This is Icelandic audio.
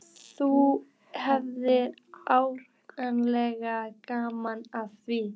Þú hefðir áreiðanlega gaman af því.